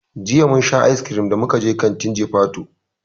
Jiya mun sha icecream da muka je kantin jifatu.